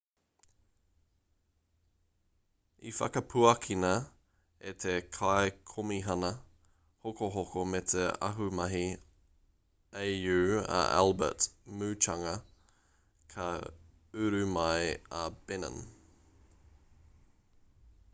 i whakapuakina e te kaikomihana hokohoko me te ahumahi au a albert muchanga ka uru mai a benin